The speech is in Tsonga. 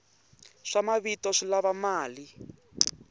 swa mavito swi lava mali